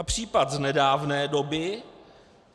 A případ z nedávné doby.